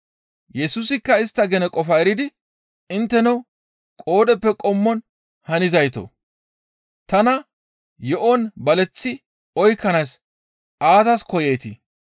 Yesusikka istta gene qofaa eridi, «Intteno qoodheppe qommon hanizaytoo! Tana yo7on baleththi oykkanaas aazas koyeetii?